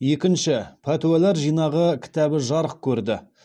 екінші пәтуалар жинағы кітабы жарық көрді